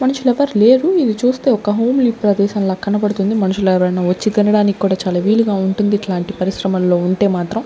మనుషులెవ్వర్ లేరు ఇది చూస్తే ఒక హోమ్లీ ప్రదేశం లాగా కనపడుతుంది మనుషులు ఎవరైనా వచ్చి తినడానికి కూడా చాలా వీలుగా ఉంటుంది ఇట్లాంటి పరిశ్రమల్లో ఉంటే మాత్రం.